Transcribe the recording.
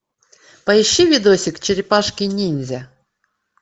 поищи видосик черепашки ниндзя